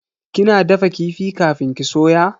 Kina dafa kifi kafin ki soya?